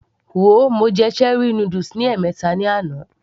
Wo, mo jẹ cherie noodles ní ẹ̀mẹta ní àná